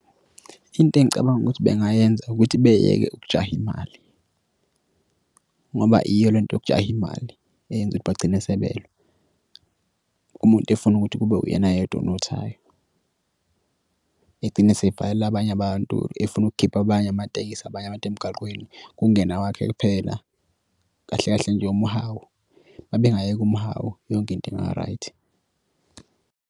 Into engicabanga ukuthi bengayenzi ukuthi beyeke ukujaha imali ngoba iyo le nto yokujaha imali eyenza ukuthi bagcine sebelwa. Umuntu efuna ukuthi kube uyena yedwa onothayo egcine esefakele abanye abantu efuna ukukhipha abanye amatekisi abanye abantu emgaqweni. Kungene awakhe kuphela kahle kahle nje umuhawu mabengayeka umuhawu yonke into inga-right.